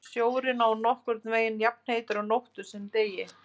Sjórinn er nokkurn veginn jafnheitur á nóttu sem degi.